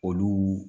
Olu